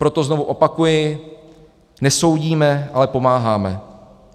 Proto znovu opakuji, nesoudíme, ale pomáháme.